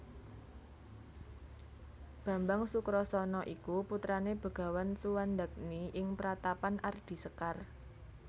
Bambang Sukrasana iku putrane Begawan Suwandagni ing Pratapan Ardi Sekar